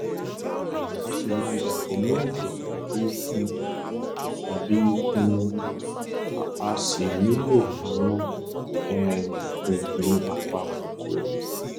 a sì máa dàpọ̀ mọ́ ẹ̀jẹ̀ tàbí ikun tàbí ikun wọ́n á sì nílò àwọn um oògùn apakòkòrò